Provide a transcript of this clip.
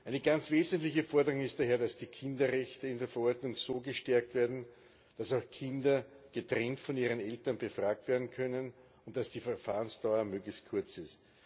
Eine ganz wesentliche Forderung ist daher, dass die Kinderrechte in der Verordnung so gestärkt werden, dass Kinder auch getrennt von ihren Eltern befragt werden können und dass die Verfahrensdauer möglichst kurz ist.